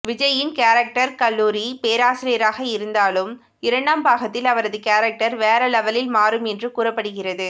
விஜய்யின் கேரக்டர் கல்லூரி பேராசிரியராக இருந்தாலும் இரண்டாம் பாகத்தில் அவரது கேரக்டர் வேற லெவலில் மாறும் என்றும் கூறப்படுகிறது